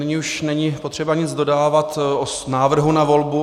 Nyní už není potřeba nic dodávat o návrhu na volbu.